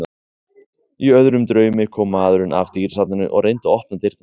Í öðrum draumi kom maðurinn af dýrasafninu og reyndi að opna dyrnar.